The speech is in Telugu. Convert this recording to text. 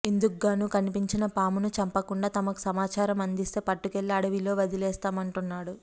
ఇందుకుగాను కనిపించిన పామును చంపకుండా తమకు సమాచారం అందిస్తే పట్టుకెళ్లి అడవిలో వదిలివేస్తామంటున్నాడు